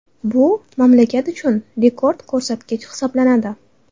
Bu mamlakat uchun rekord ko‘rsatkich hisoblanadi.